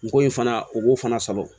N ko in fana u k'o fana sɔrɔ